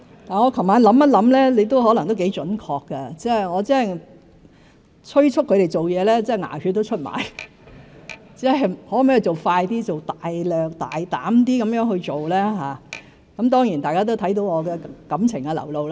我昨日回想，容議員可能也頗準確，我催促同事做事真的"牙血都出了"，我要求他們做快一點、放膽一些去做；當然，大家也看到我的感情流露。